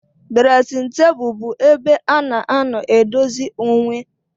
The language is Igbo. Dresin table bu ebe ana anọ edozi onwee.